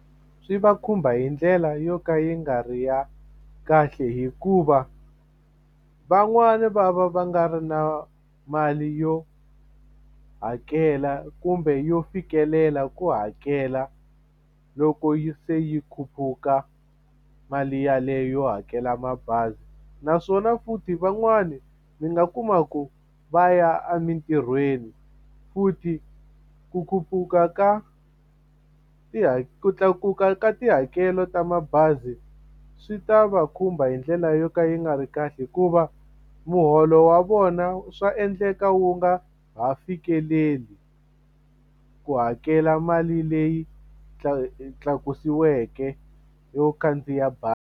Swi va khumba hi ndlela yo ka yi nga ri ya kahle hikuva van'wani va va va nga ri na mali yo hakela kumbe yo fikelela ku hakela loko yi se yi khuphuka mali yaleyo yo hakela mabazi naswona futhi van'wani mi nga kuma ku va ya emintirhweni futhi ku khuphuka ka ku tlakuka ka tihakelo ta mabazi swi ta va khumba hi ndlela yo ka yi nga ri kahle hikuva muholo wa vona swa endleka wu nga ha fikeleli ku hakela mali leyi tlakusiweke yo khandziya bazi.